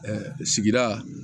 sigida